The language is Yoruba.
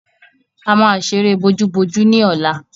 A máa ṣeré bojúbojú ní ọ̀la.